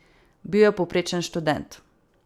Bil je povprečen študent.